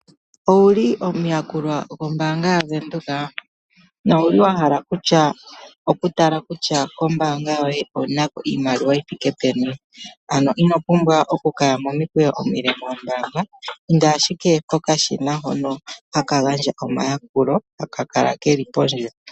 Owuli omuyakulwa gombaanga ya Venduka, nowuli wahala okutala kutya kombaanga yoye owunako iimaliwa yithike peni. Ano inopumbwa okukaya momikweyo omile moombaanga, inda ashike pokashina hono haka gandja omayakulo, haka kala keli pondje.